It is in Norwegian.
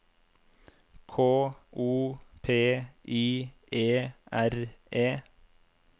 K O P I E R E